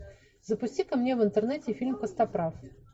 запусти ка мне в интернете фильм костоправ